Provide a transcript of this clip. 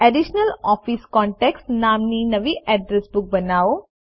additional office contacts નામની નવી address book બનાવો